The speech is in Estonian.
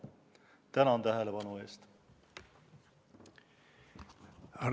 Tänan tähelepanu eest!